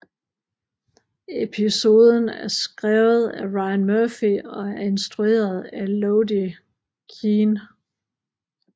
Episoden er skrvet af Ryan Murphy og er instrueret af Elodie Keene